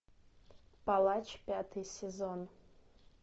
палач пятый сезон